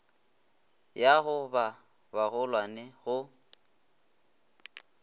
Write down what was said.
ya go ba bagolwane go